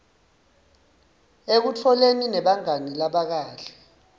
ekutholeni nabangani labakahle